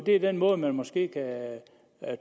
er den måde man måske kan